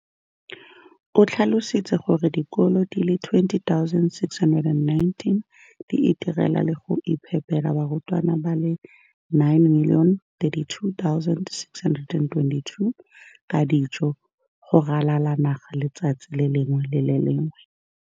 O tlhalositse gore dikolo di le 20 619 di itirela le go iphepela barutwana ba le 9 032 622 ka dijo go ralala naga letsatsi le lengwe le le lengwe.